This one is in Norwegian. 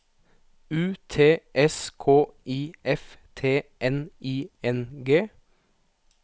U T S K I F T N I N G